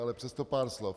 Ale přesto pár slov.